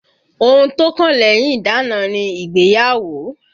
Ohun tó kàn lẹ́yìn ìdána ni ìgbéyàwó